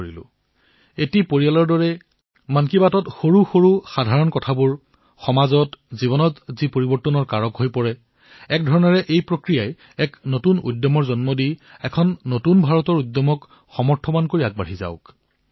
এক পাৰিবাৰিক পৰিবেশত মন কী বাত সৰুসৰু পাতলীয়া সমাজলৈ জীৱনলৈ যি পাতলীয়া পৰিৱৰ্তন আহে এক প্ৰকাৰে তাৰ এই নিৰৱচ্ছিন্নতা এক নতুন আত্মাক জন্ম দি আৰু এক প্ৰকাৰে নতুন ভাৰতৰ আত্মাক সামৰ্থ প্ৰদান কৰি এই গতি আগবাঢ়ক